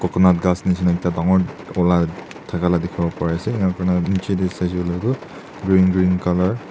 Koina ghas nishina ekta dangor ula thaka la dekhi bo pari ase aro koina niche tey saishe koile toh green green colour --